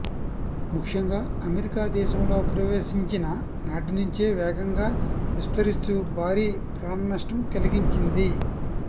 ముఖ్యంగా అమెరికా దేశంలో ప్రవేశించిన నాటి నుంచే వేగంగా విస్తరిస్తూ భారీ ప్రాణనష్టం కలిగించింది